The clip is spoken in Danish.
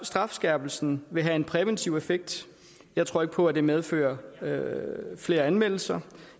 strafskærpelsen vil have en præventiv effekt jeg tror ikke på at det medfører flere anmeldelser